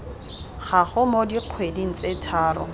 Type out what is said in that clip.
gago mo dikgweding tse tharo